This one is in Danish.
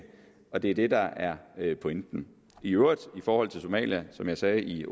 og det er det der er pointen i øvrigt i forhold til somalia som jeg sagde i